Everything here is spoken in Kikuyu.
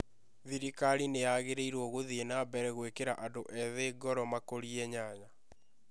Thirikari nĩ yagĩrĩirũo gũthiĩ na mbere gwĩkĩra andũ ethĩ ngoro makũrie nyanya